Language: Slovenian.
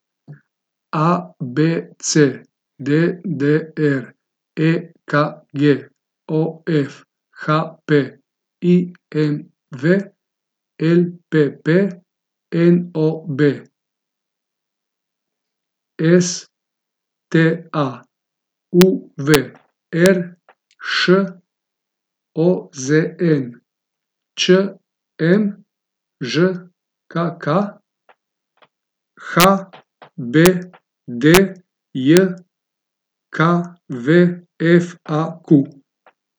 A B C; D D R; E K G; O F; H P; I M V; L P P; N O B; S T A; U V; R Š; O Z N; Č M; Ž K K; H B D J K V; F A Q.